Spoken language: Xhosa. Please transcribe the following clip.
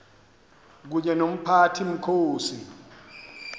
kunye nomphathi mkhosi